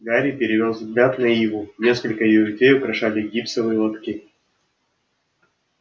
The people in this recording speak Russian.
гарри перевёл взгляд на иву несколько её ветвей украшали гипсовые лотки